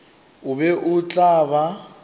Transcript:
o be o tla ba